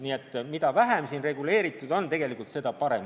Nii et mida vähem reguleeritud, seda parem.